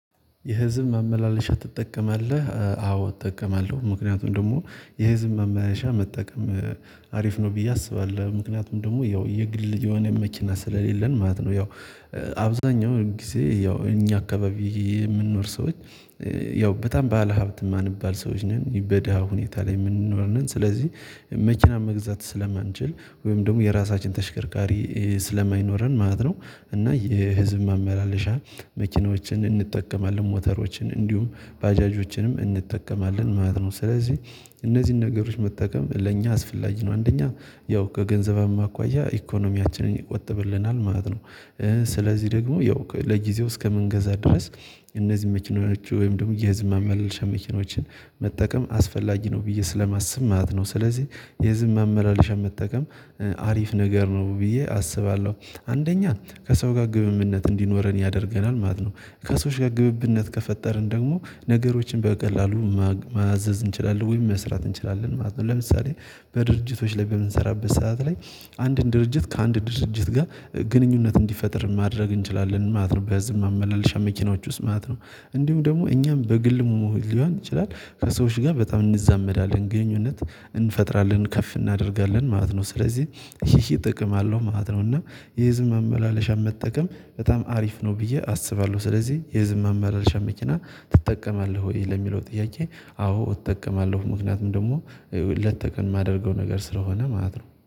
የህዝብ መመላለሻ ትጠቀማለህ አዎ እጠቀማለሁ ምክንያቱም ደግሞ የህዝብ መመለሻ መጠቀም አሪፍ ነው ብዬ አስባለሁ። ምክንያቱም ደግሞ ያው የግል የሆነ መኪና ስለሌለን ማለት ነው። ያው አብዛኛው ጊዜ ያው እኛ አካባቢ የምንኖር ሰዎች። ያው በጣም ባለሀብት የማንባል ሰዎች ነን በዳሀ ሁኔታ ላይ የምንኖር ነን። ስለዚህ መኪና መግዛት ስለማንችል ወይም ደግሞ የራሳችን ተሽከርካሪ ስለማይኖረን ማለት ነው። እና የህዝብ ማመላለሻ መኪናዎችን እንጠቀማለን ሞተሮችን እንዲሁም ባጃጆችንም እንጠቀማለን ማለት ነው። ስለዚህ እነዚህን ነገሮች መጠቀም ለእኛ አስፈላጊ ነው። አንደኛ ያው ከገንዘብም አኳያ ኢኮኖሚያችንን ይቆጥብልናል ማለት ነው። ስለዚህ ደግሞ ያው ለጊዜው እስከምንገዛ ድረስ። እነዚህ መኪናዎች ወይም ደግሞ የህዝብ ማስመለሻ መኪኖችን መጠቀም አስፈላጊ ነው ብዬ ስለማስብ ማለት ነው። ስለዚህ የህዝበ ማመላለሻ መጠቀም አሪፍ ነገር ነው ብዬ አስባለሁ። አንደኛ ከሰው ጋር ግንኙነት እንዲኖረን ያደርገናል ማለት ነው። ከሰዎች ጋር ግንኘነት ከፈጠርን ደግሞ ነገሮችን በቀላሉ ማዘዝ እንችላለን ወይም መስራት እንችላለን ማለት ነው። ለምሳሌ በድርጅቶች ላይ በምንሰራበት ሰዓት ላይ አንድን ድርጅት ከአንድ ድርጅት ጋር ግንኙነት እንዲፈጥር ማድረግ እንችላለን ማለት ነው። በህዝብ ማመላለሻ መኪናዎች ውስጥ ማለት ነው። እንዲሁ ደግሞ እኛም በግል ሊሆን ይችላል ከሰዎች ጋር በጣም እንዛመዳለን ግንኙነት እንፈጥራለን ከፍ እናደርጋለን ማለት ነው። ስለዚህ ይሄ ጥቅም አለው ማለት ነው። እና የህዝብ ማመላለሻ መጠቀም በጣም አሪፍ ነው ብዬ አስባለሁ። ስለዚህ የህዝብ ማመላለሻ መኪና ትጠቀማለህ ወይ ለሚለው ጥያቄ? አዎ እጠቀማለሁ ምክንያቱም ደግሞ ሌት ከቀን የማደርገው ነገር ስለሆነ ማለት ነው